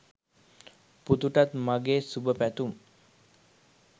පුතුටත් මගෙ සුබපැතුම්.